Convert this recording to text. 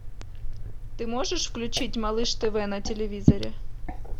ты можешь включить малыш тв на телевизоре